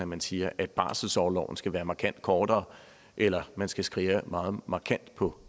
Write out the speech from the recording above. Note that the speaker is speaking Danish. man siger at barselsorloven skal være markant kortere eller at man skal skære meget markant på